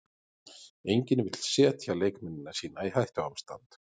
Enginn vill setja leikmennina sína í hættuástand.